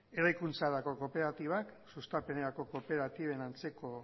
eraikuntzarako kooperatibak sustapenerako kooperatiben antzeko